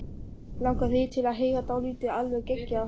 Langar þig til að heyra dálítið alveg geggjað?